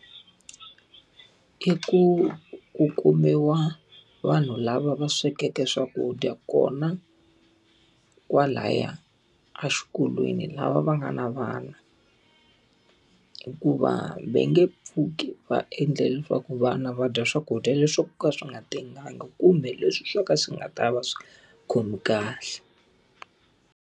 I ku kumiwa vanhu lava va swekeke swakudya kona, kwalaya exikolweni lava va nga na vana hikuva va nge pfuki va endle leswaku vana va dya swakudya leswi swo ka swi nga tengangi kumbe leswi swo ka swi nga ta va swi nga va khomi kahle.